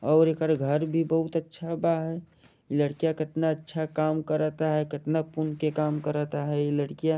और एकरे घर भी बहुत अच्छा बा लड़किया कितना अच्छा काम करता है कितना पुन के काम करता है इ लड़किया।